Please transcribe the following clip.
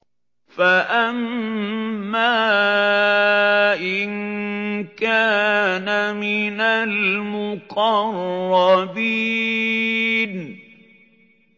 فَأَمَّا إِن كَانَ مِنَ الْمُقَرَّبِينَ